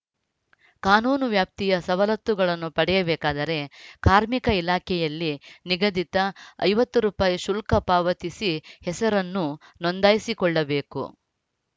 ಕಾನೂನು ವ್ಯಾಪ್ತಿಯ ಸವಲತ್ತುಗಳನ್ನು ಪಡೆಯಬೇಕಾದರೆ ಕಾರ್ಮಿಕ ಇಲಾಖೆಯಲ್ಲಿ ನಿಗದಿತ ಐವತ್ತು ರೂಪಾಯಿ ಶುಲ್ಕ ಪಾವತಿಸಿ ಹೆಸರನ್ನು ನೋಂದಾಯಿಸಿಕೊಳ್ಳಬೇಕು